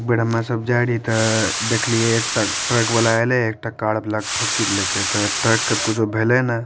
एक बेर हमे सब जाय रिहे ते देखलिये एकटा ट्रक वला एले एकटा कार वला के ठोकी देलके ते ट्रक के ते कुछू भेले ने --